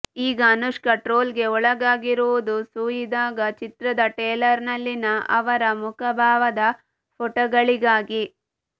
ಈಗ ಅನುಷ್ಕಾ ಟ್ರೋಲ್ಗೆ ಒಳಗಾಗಿರುವುದು ಸೂಯಿ ಧಾಗಾ ಚಿತ್ರದ ಟ್ರೇಲರ್ನಲ್ಲಿನ ಅವರ ಮುಖಭಾವದ ಫೋಟೋಗಳಿಗಾಗಿ